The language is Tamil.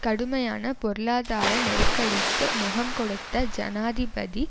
கடுமையான பொருளாதார நெருக்கடிக்கு முகம் கொடுத்த ஜனாதிபதி